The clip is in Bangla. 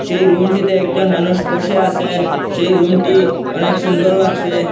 সেই রুমটিতে একজন মানুষ বসে আসেন সেই রুমটি অনেক সুন্দর লাগসে।